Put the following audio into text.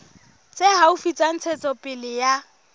tse haufi tsa ntshetsopele ya